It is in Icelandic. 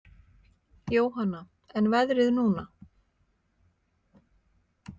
Jóhanna: En veðrið núna?